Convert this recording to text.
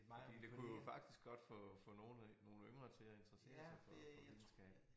Fordi det kunne jo faktisk godt få få nogle øh nogle yngre til at interessere sig for videnskab